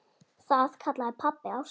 Það kallaði pabbi ástina.